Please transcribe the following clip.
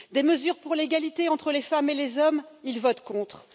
des mesures pour l'égalité entre les femmes et les hommes, ils votent contre